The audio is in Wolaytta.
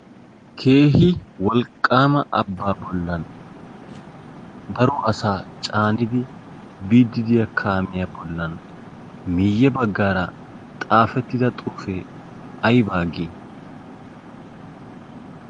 keehi wolqaama abaa bolan daro asaa caanidi biidi diya kaamiya bolan miye bagaara xaafettida xuufee ayba geetettii?